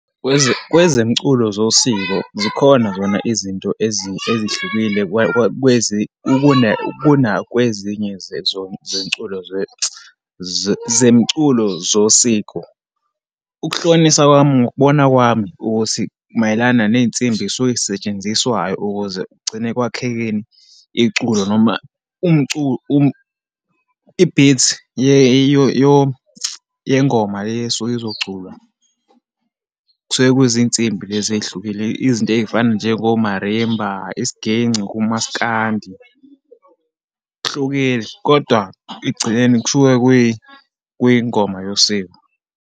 Kwezemculo zosiko, zikhona zona izinto ezihlukile kuna kwezinye zomculo zemculo zosiko. Ukuhlolisa kwami, ngokubona kwami ukuthi mayelana neyinsimbi eyisuke yisetshenziswayo ukuze kugcine ekwakheni, iculo noma i-beat yengoma le esuke izoculwa. Kusuke kuzinsimbi lezi eyihlukile, izinto eyifana njengo-marimba, isiginci kumaskandi, kuhlukile. Kodwa ekugcineni, kusuke kwiyingoma yosiko.